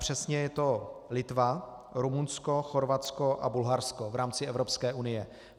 Přesně je to Litva, Rumunsko, Chorvatsko a Bulharsko v rámci Evropské unie.